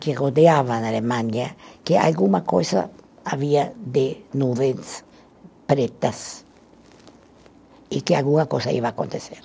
que rodeavam a Alemanha, que alguma coisa havia de nuvens pretas e que alguma coisa ia acontecer.